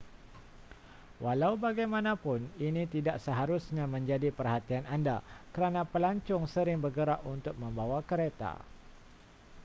walau bagaimanapun ini tidak seharusnya menjadi perhatian anda kerana pelancong sering bergerak untuk membawa kereta